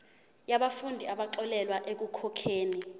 yabafundi abaxolelwa ekukhokheni